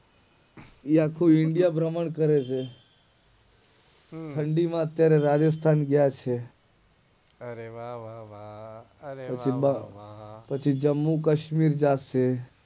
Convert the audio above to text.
એ આખું India promote કરે છે હમ્મ ઠંડી માં અત્યારે રાજેસ્થાન છે અરે વા વા વા વા પછી જમુકાસમીર ગયા છે